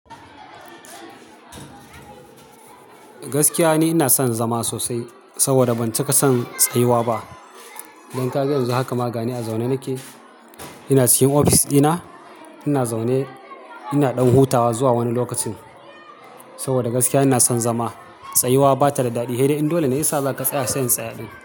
Gaskiya ne ina son zama sosai saboda ban cika son tsayuwa ba. Don kaga yanzu haka ma gani a zaune nake. Ina cikin ofis ɗina, ina zaune ina ɗan hutawa zuwa wani lokacin saboda gaskiya ina son zama. Tsayuwa ba ta da daɗi. He ɗai in dole ya sa za ka tsaya sai in tsaya ɗin.